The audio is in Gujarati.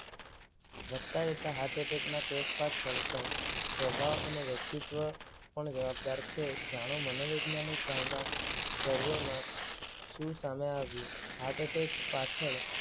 વધતા જતા હાર્ટ અટેક ના કેસ પાછળ સ્વભાવ અને વ્યક્તિત્વ પણ જવાબદાર છે. જાણો મનોવૈજ્ઞાનિક ભાવના સર્વેમાં શું સામે આવ્યું? હાર્ટ અટેક પાછળ